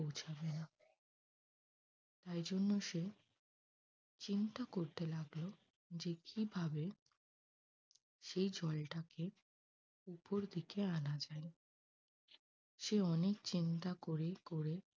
তাই জন্য সে চিন্তা করতে লাগল যে কিভাবে সেই জলটাকে উপর দিকে আনা যায়। সে অনেক চিন্তা করে করে